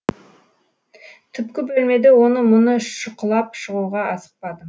түпкі бөлмеде оны мұны шұқылап шығуға асықпадым